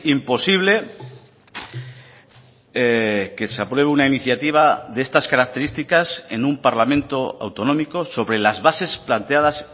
imposible que se apruebe una iniciativa de estas características en un parlamento autonómico sobre las bases planteadas